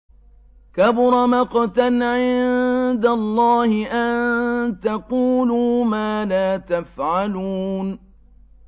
كَبُرَ مَقْتًا عِندَ اللَّهِ أَن تَقُولُوا مَا لَا تَفْعَلُونَ